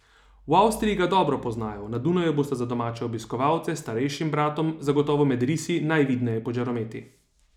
V Avstriji ga dobro poznajo, na Dunaju bosta za domače obiskovalce s starejšim bratom zagotovo med risi najvidneje pod žarometi.